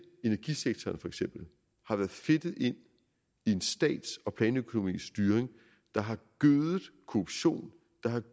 energisektoren har været fedtet ind i en stats og planøkonomisk styring der har gødet korruptionen der har